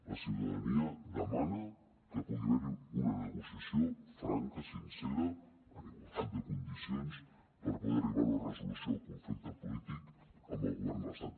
la ciutadania demana que pugui haver hi una negociació franca sincera en igualtat de condicions per poder arribar a una resolució del conflicte polític amb el govern de l’estat